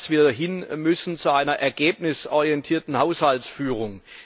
Wir müssen hin zu einer ergebnisorientierten Haushaltsführung.